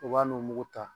U b'a n'o mugu ta